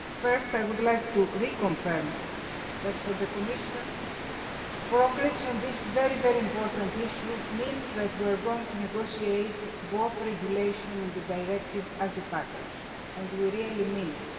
Firstly, I would like to reconfirm that, for the Commission, progress on this very important issue means that we are going to negotiate both the regulation and the directive as a package. We really mean it.